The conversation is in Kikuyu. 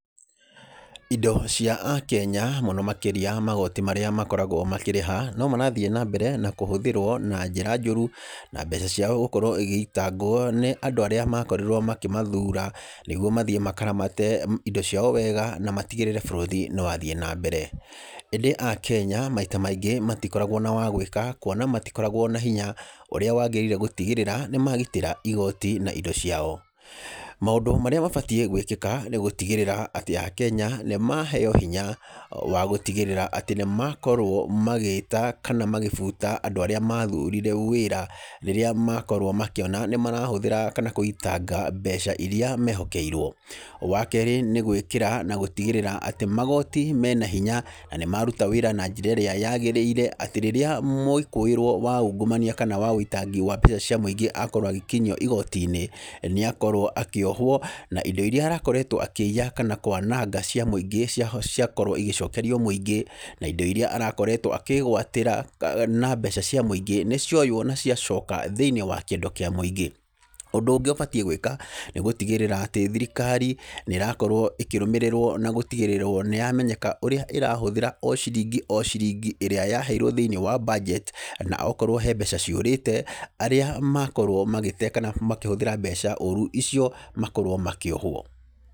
Indo cia akenya, mũno makĩria magoti marĩa makoragwo makĩrĩha no marathiĩ na mbere gũkorwo makĩhũthĩrwo na njĩra njũru, na mbeca ciao gũkorwo igĩitangwo nĩ andũ arĩa makorĩrwo makĩmathura nĩgũo mathiĩ makaramate indo ciao wega na matĩgĩrĩre bũrũri nĩ wathiĩ na mbere. ĩndĩ akenya maita maingĩ matĩkoragwo na wagwĩka kũona matĩkoragwo na hinya ũrĩa wagĩrĩire nĩ gũtĩgĩrĩra nĩ magĩtĩra igoti na indo ciao. Maũndũ marĩa mabatiĩ gwĩkĩka nĩ gũtĩgĩrĩra atĩ akenya nĩ maheo hinya wa gũtigĩrĩra atĩ nĩ makorwo magĩĩta, kana magĩbuta andũ arĩa mathurire wĩra rĩrĩa makorwo makĩona nĩ marahũthĩra kana gũitanga mbeca irĩa mehokeirwo. Wakeerĩ nĩ gwĩkĩra na gũtĩgĩrĩra atĩ magoti mena hinya na nĩ maruta wĩra na njĩra ĩrĩa yagĩrĩire. Atĩ rĩrĩa mwĩkũĩrwo wa ũngũmania ,kana wa ũitangĩ wa mbeca cia mũingĩ akorwo agĩkĩnyio igoti-inĩ, nĩ akorwo akĩohwo, na indo irĩa arakoretwo akĩiya, kana kwananga cia mũingĩ, ciakorwo igĩcokerio mũingĩ, na indo irĩa arakoretwo akĩgwatĩra na mbeca cia mũingĩ nĩ cioywo, na cia coka thĩinĩ wa kĩndũ kia mũingĩ. Ũndũ ũngĩ ũbatĩe gwĩka nĩ gũtĩgĩrĩra atĩ thirikari nĩ ĩrakorwo ĩkĩrũmĩrĩrwo na gũtigĩrĩrwo nĩ ĩramenyeka ũrĩa ĩrahũthĩra o ciringi o ciringi ĩrĩa yaheirwo thĩinĩ wa budget, na okorwo hena mbeca ciũrĩte, arĩa makorwo magĩte, kana makĩhũthĩra mbeca ũrũ icio makorwo makĩohwo.